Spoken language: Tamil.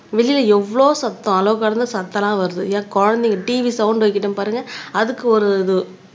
வெளியில எவ்ளோ சத்தம் அளவு கடந்த சத்தம் எல்லாம் வருது ஏன் குழந்தைங்க TV சவுண்ட் வைக்கட்டும் பாருங்க அதுக்கு ஒரு இது